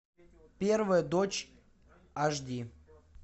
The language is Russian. первая дочь аш ди